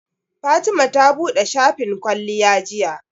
Fatima ta buɗe shafin kwalliya jiya.